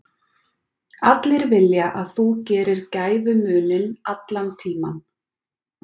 Allir vilja að þú gerir gæfumuninn, allan tímann.